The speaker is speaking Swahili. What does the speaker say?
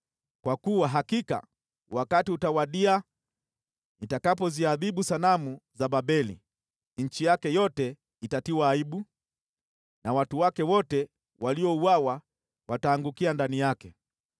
Kwa kuwa hakika wakati utawadia nitakapoziadhibu sanamu za Babeli; nchi yake yote itatiwa aibu, na watu wake wote waliouawa wataangukia ndani yake.